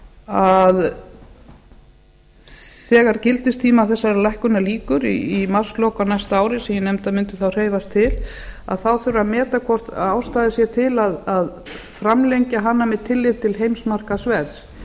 að þegar gildistíma þessarar lýkur í marslok á næsta ári sem eg nefndi að mundi á hreyfiast til þurfi að meta hvort ástæða sé til að framlengja hana með tilliti til heimsmarkaðsverðs